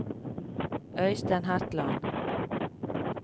Øystein Hetland